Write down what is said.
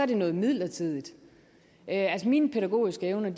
det noget midlertidigt altså mine pædagogiske evner